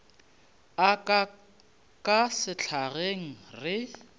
a ka ka sehlageng re